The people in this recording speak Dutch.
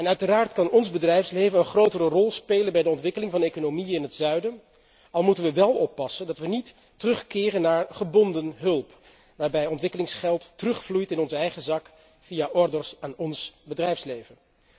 Uiteraard kan ons bedrijfsleven een grotere rol spelen bij de ontwikkeling van de economie in het zuiden, al moeten we wel oppassen dat we niet terugkeren naar gebonden hulp, waarbij ontwikkelingsgeld terugvloeit in onze eigen zak via orders aan ons bedrijfsleven.